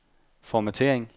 formattering